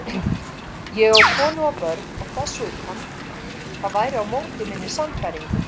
Ég á konu og börn og þess utan, það væri á móti minni sannfæringu.